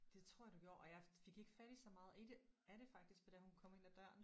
Det tror jeg du gjorde og jeg fik ikke fat i så meget i det af det faktisk for da hun kom ind ad døren